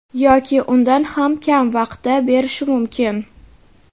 yoki undan ham kam vaqtda berishi mumkin.